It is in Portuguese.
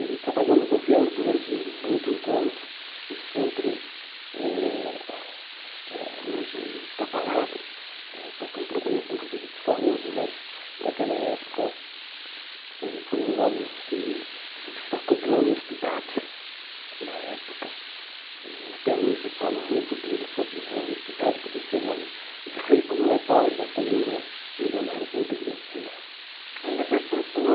ele trabalhou no governo durante muitos anos e sempre eh eh hoje está parado está com problemas inclusive de saúde mas naquela época ele foi um homem que se destacou pela honestidade na época e até hoje falo muito dele sobre a honestidade podia ser um homem de rico não é pobre mas também não é milionário como deveria de ser aí depois tem o senhor